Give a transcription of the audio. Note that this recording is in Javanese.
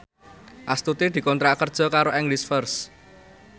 Astuti dikontrak kerja karo English First